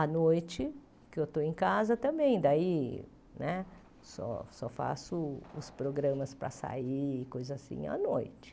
À noite, que eu estou em casa também, daí né só só faço os programas para sair, coisa assim, à noite.